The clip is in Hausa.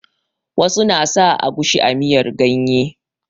Wasu na sa agushi a miyar ganye.